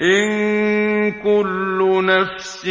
إِن كُلُّ نَفْسٍ